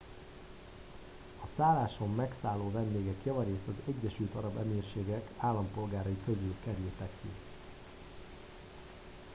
a szálláson megszálló vendégek javarészt az egyesült arab emírségek állampolgárai közül kerültek ki